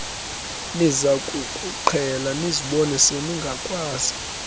nizakukuqhela nizibone seningakwazi